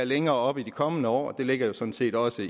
længere op i de kommende år det ligger jo sådan set også